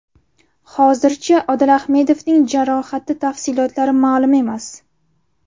Hozircha Odil Ahmedovning jarohati tafsilotlari ma’lum emas.